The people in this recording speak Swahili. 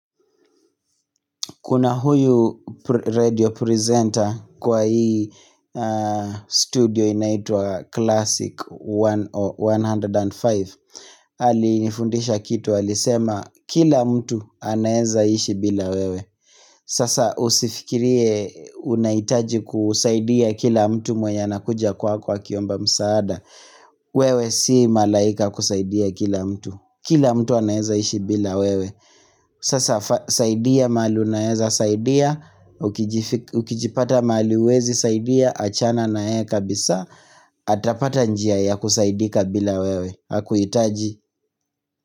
Kuna huyu radio presenter kwa hii studio inaitua Classic 105. Alinifundisha kitu, alisema kila mtu anaeza ishi bila wewe. Sasa usifikirie unahitaji kusaidia kila mtu mwenye anakuja kwako akiomba msaada wewe si malaika kusaidia kila mtu. Kila mtu anaweza ishi bila wewe Sasa saidia mahali unaweza saidia, ukijipata mahali huwezi saidia achana naye kabisa, atapata njia ya kusaidika bila wewe, hakuhitaji.